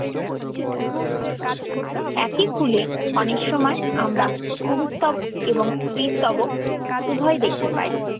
একই ফুলে অনেক সময় আমরা পুংস্তবক এবং স্ত্রীস্তবক উভয়ই দেখতে পাই।